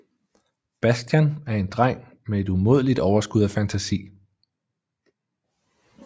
Bastian er en dreng med et umådeligt overskud af fantasi